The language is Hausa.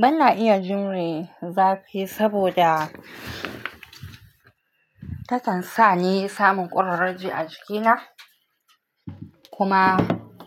Bana iya jimre zafi saboda takan sa ni samun kurarraji a jikina kuma